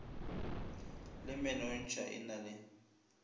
le menontšha e na le